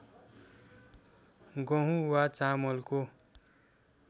गहुँ वा चामलको